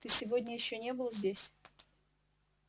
ты сегодня ещё не был здесь